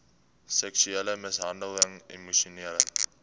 seksuele mishandeling emosionele